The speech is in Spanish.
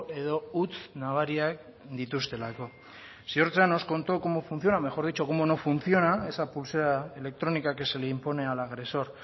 edo huts nabariak dituztelako ziortza nos contó cómo funciona mejor dicho cómo no funciona esa pulsera electrónica que se le impone al agresor